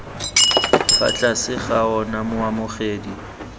fa tlase ga ona moamogedi